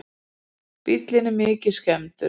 Bíllinn er mikið skemmdur